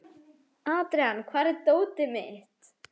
Adrian, hvar er dótið mitt?